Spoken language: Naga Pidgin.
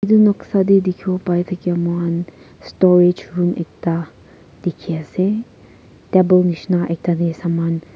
edu noksa tae dikhawo paithakya mohan storage room ekta dikhiase table nishina ekta tae saman--